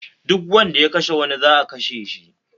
Duk wanda ya kashe wani za'a kashe shi